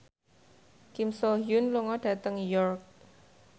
Kim So Hyun lunga dhateng York